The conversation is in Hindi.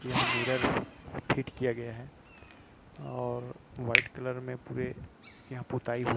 यहाँ मिरर फिट किया गया है और वाइट कलर में पुरे पुताई--